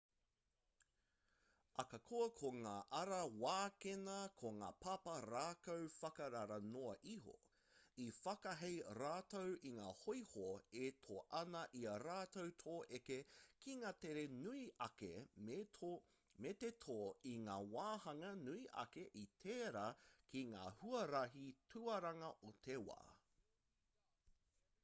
akakoa ko ngā ara wākena ko ngā papa rākau whakarara noa iho i whakahei rātou i ngā hoiho e tō ana i a rātou te eke ki ngā tere nui ake me te tō i ngā wahanga nui ake i tērā ki ngā huarahi tuaranga o te wā